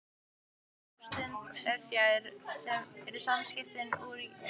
Þegar ástin er fjarri eru samskiptin úr jafnvægi.